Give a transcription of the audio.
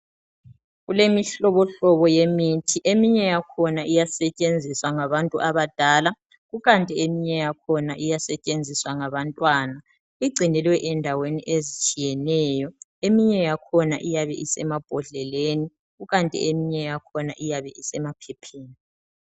Kulemihlobohlobo yemithi eminye yakhona iyasetshenziswa ngabantu abadala kukanti eminye yakhona iyasetshenziswa ngabantwana igcinelwe endaweni ezitshiyeneyo. Eminye yakhona iyabe isemambondleleni kukanti eminye yakhona iyabe isemaphepheni.